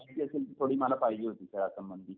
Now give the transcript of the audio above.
माहिती असेल ना थोडी मला पाहिजे होती खेळासंबंधी.